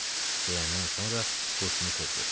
Deyəndən sonra huşunu itirdi.